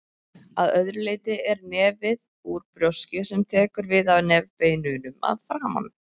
Að öðru leyti er nefið úr brjóski sem tekur við af nefbeinunum að framan.